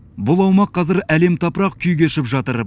бұл аумақ қазір әлем тапырақ күй кешіп жатыр